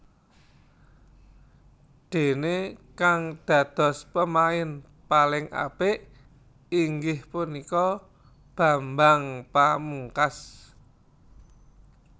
Déné kang dados pemain paling apik inggih punika Bambang Pamungkas